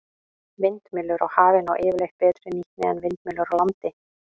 Vindmyllur á hafi ná yfirleitt betri nýtni en vindmyllur á landi.